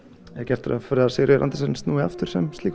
er gert ráð fyrir að Sigríður Andersen snúi aftur